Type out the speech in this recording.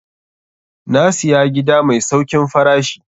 Na siya gida mai saukin farashi.